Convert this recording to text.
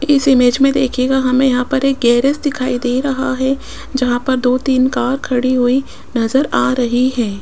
इस इमेज में देखिएगा हमें यहां पर एक गैरेज दिखाई दे रहा है जहां पर दो तीन कार खड़ी हुई नजर आ रही है।